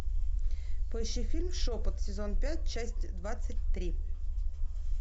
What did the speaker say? поищи фильм шепот сезон пять часть двадцать три